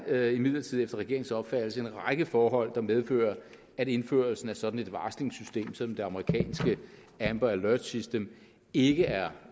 er imidlertid efter regeringens opfattelse en række forhold der medfører at indførelsen af sådan et varslingssystem som det amerikanske amber alert system ikke er